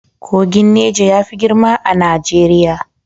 Kogin Neja yafi girma a Najeriya.